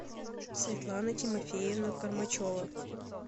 светлана тимофеевна кормачева